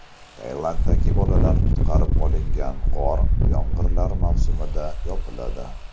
Tailanddagi bolalar qutqarib olingan g‘or yomg‘irlar mavsumida yopiladi.